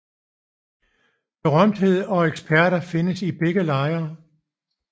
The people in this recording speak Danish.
Berømtheder og eksperter findes i begge lejre